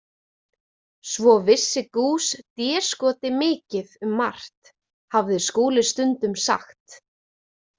Svo vissi Goos déskoti mikið um margt, hafði Skúli stundum sagt.